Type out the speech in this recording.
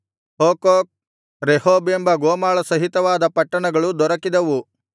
Hukkok Rehob ಎಂಬ ಗೋಮಾಳ ಸಹಿತವಾದ ಪಟ್ಟಣಗಳು ದೊರಕಿದವು